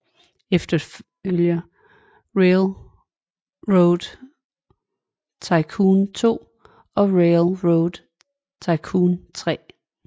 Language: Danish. Efterfølger Railroad Tycoon 2 og Railroad Tycoon 3